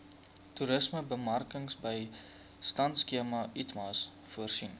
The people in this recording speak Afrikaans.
toerismebemarkingbystandskema itmas voorsien